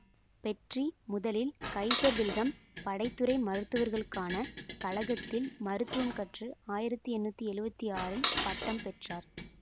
petri முதலில் Kaiser Wilhelm படை துறை மருத்துவர்களுக்கான கழகத்தில் மருத்துவம் கற்று ஆயிரத்தி எண்ணூற்றி எழுவத்தி ஆறு பட்டம் பெற்றார்